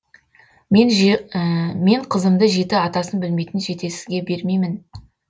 мен қызымды жеті атасын білмейтін жетесізге бермеймін